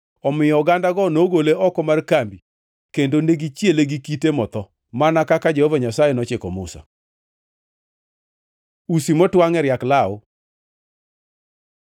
Omiyo ogandago nogole oko mar kambi kendo negichiele gi kite motho, mana kaka Jehova Nyasaye nochiko Musa. Usi motwangʼ e riak law